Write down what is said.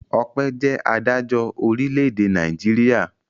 Ọpẹ́ jẹ́ adájọ́ orílẹ̀-èdè Nàìjíríà.